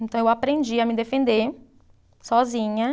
Então, eu aprendi a me defender sozinha.